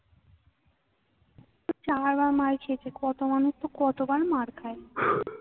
চার বার মার খেয়েছে। কত মানূষতো কতবার মার খায়